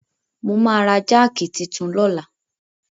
Mo máa ra jáàkì titun lọ́la.